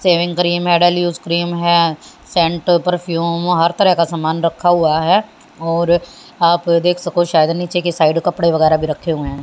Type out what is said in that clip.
Saving cream मेडल use cream है scent perfume हर तरह का सामान रखा हुआ है और आप देख सको शायद नीचे की साइड कपड़े वगैरा भी रखे हुए है।